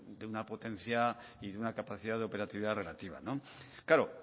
de una potencia y de una capacidad de operatividad relativa claro